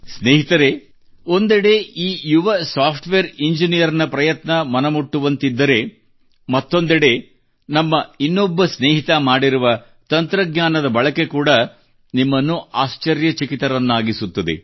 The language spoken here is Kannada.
ಸ್ನೇಹಿತರೇ ಒಂದೆಡೆ ಈ ಯುವ ಸಾಫ್ಟ್ ವೇರ್ ಇಂಜಿನಿಯರ್ ನ ಪ್ರಯತ್ನ ಮನಮುಟ್ಟುವಂತಿದ್ದರೆ ಮತ್ತೊಂದೆಡೆ ನಮ್ಮ ಇನ್ನೊಬ್ಬ ಸ್ನೇಹಿತ ಮಾಡಿರುವ ತಂತ್ರಜ್ಞಾನದ ಬಳಕೆ ಕೂಡಾ ನಿಮ್ಮನ್ನು ಆಶ್ಟರ್ಯಚಕಿತರನ್ನಾಗಿಸುತ್ತದೆ